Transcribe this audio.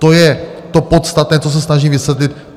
To je to podstatné, co se snažím vysvětlit.